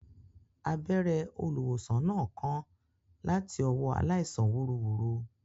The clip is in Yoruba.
Abẹ́rẹ́ olùwòsàn náà kán láti ọwọ́ aláìsàn wúruwùru